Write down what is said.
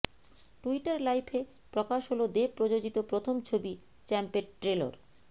Twitter লাইভে প্রকাশ হল দেব প্রযোজিত প্রথম ছবি চ্যাম্পের ট্রেলর